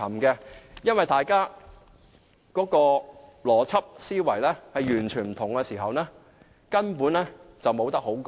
因為如果大家的邏輯思維完全不同，根本是無話可說。